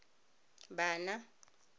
bana